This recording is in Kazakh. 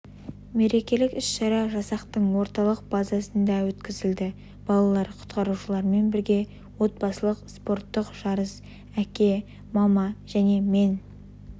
мерекелік іс-шара жасақтың орталық базасында өткізілді балалар құтқарушылармен бірге отбасылық спорттық жарыс әке мама және мен